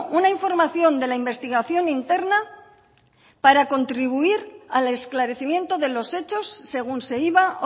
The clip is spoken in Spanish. una información de la investigación interna para contribuir al esclarecimiento de los hechos según se iba